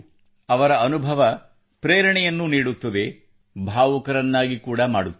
ಅವರ ಅನುಭವ ಪ್ರೇರಣೆಯನ್ನೂ ನೀಡುತ್ತದೆ ಭಾವುಕರನ್ನಾಗಿ ಕೂಡಾ ಮಾಡುತ್ತದೆ